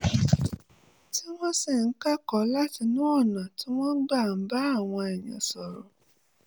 tí wọ́n sì ń kẹ́kọ̀ọ́ látinú ọ̀nà tí wọ́n gbà ń bá àwọn èèyàn sọ̀rọ̀